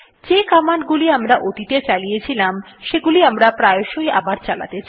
যে কমান্ড গুলি আমরা অতীতে চালিয়েছিলাম সেগুলি আমরা প্রায়শই আবার চালাতে চাই